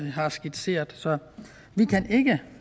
har skitseret så vi kan ikke